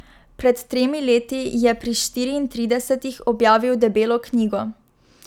Pred tremi leti je pri štiriintridesetih objavil debelo knjigo.